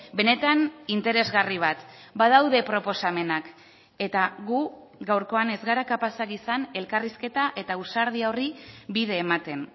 benetan interesgarri bat badaude proposamenak eta gu gaurkoan ez gara kapazak izan elkarrizketa eta ausardia horri bide ematen